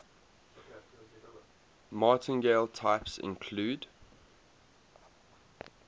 martingale types include